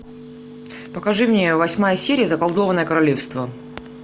покажи мне восьмая серия заколдованное королевство